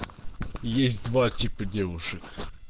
есть два типа девушек